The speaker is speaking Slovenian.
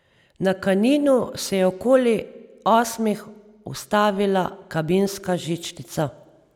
Na Kaninu se je okoli osmih ustavila kabinska žičnica.